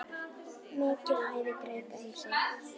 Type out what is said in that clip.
Mikið æði greip um sig.